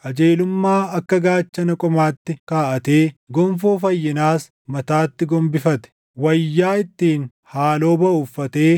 Qajeelummaa akka gaachana qomaatti kaaʼatee gonfoo fayyinaas mataatti gombifate; wayyaa ittiin haaloo baʼu uffatee